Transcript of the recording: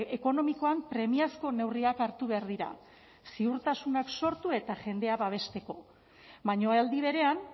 ekonomikoan premiazko neurriak hartu behar dira ziurtasunak sortu eta jendea babesteko baina aldi berean